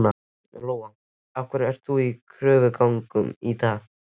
Lóa: Af hverju ert þú í kröfugöngu í dag?